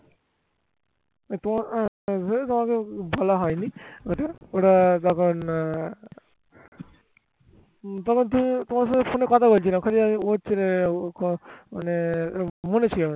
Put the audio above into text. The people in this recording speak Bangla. তখন তোমার সাথে ফোনে কথা বলছিলাম যখনই আমি ওর সাথে মানে বলেছি আমি